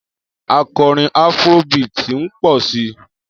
Akọrin afro beat ń pọ̀ si